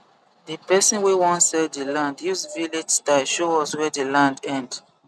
di person wey won sell di land use village style show us where the land end